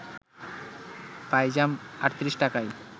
পাইজাম ৩৮ টাকায়